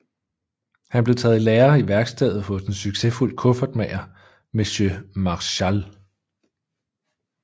Han blev taget i lære i værkstedet hos en succesfuld kuffertmager monsieur Marechal